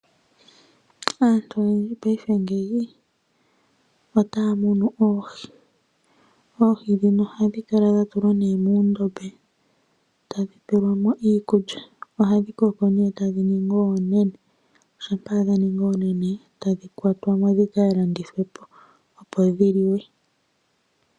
Aantu oyendji peife ngeyi otaya mono oohi. Oohi ndhino oha dhi kala nee dha tulwa muundombe tadhi pelwamo iikulya ohadhi koko nee tadhi ningi oonene shampa dha ningi oonene ta dhi kwa twamo dhi kalandithwe po opo dhi liwe.